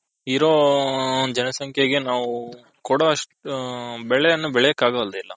ಇರೋ ಜನ ಸಂಕೆಗೆ ನಾವು ಕೊಡೊಅಷ್ಟು ಬೆಳೆಯನ್ನು ಬೆಲೆಯೋಕೆ ಆಗೋದಿಲ್ಲ .